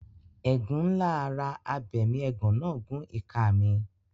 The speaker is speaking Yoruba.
Ẹ̀gún ńlá ara abẹmiẹ̀gán náà gún ìka mi.